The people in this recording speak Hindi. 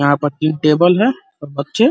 यहाँ पर तीन टेबल है और बच्चे --